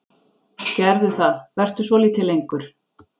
Gerðu það, vertu svolítið lengur.